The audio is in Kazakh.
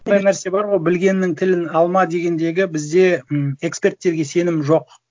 нәрсе бар ғой білгеннің тілін алма дегендегі бізде м эксперттерге сенім жоқ